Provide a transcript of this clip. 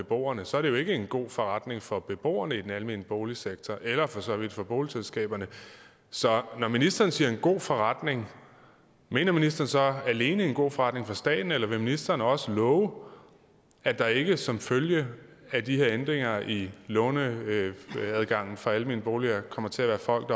beboerne så er det jo ikke en god forretning for beboerne i den almene boligsektor eller for så vidt for boligselskaberne så når ministeren siger en god forretning mener ministeren så alene en god forretning for staten eller vil ministeren også love at der ikke som følge af de her ændringer i låneadgangen for almene boliger kommer til at være folk